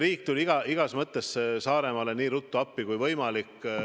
Riik tuli igas mõttes Saaremaale nii ruttu appi kui võimalik.